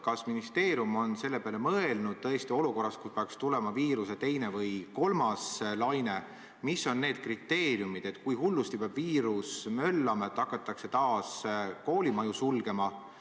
Kas ministeerium on selle peale mõelnud, et kui peaks tulema viiruse teine või kolmas laine, mis on need kriteeriumid, kui hullusti peab viirus möllama, et hakatakse taas koolimaju sulgema?